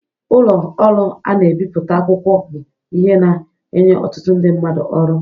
ụlọ ọrụ ana ebipụta akwụkwọ bụ ihe na enye ọtụtụ ndị mmadụ ọrụ.